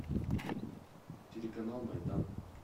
телеканал майдан